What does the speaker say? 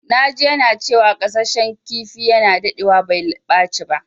Na ji yana cewa gasashen kifi yana dadewa bai ɓaci ba.